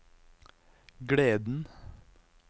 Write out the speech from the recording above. gleden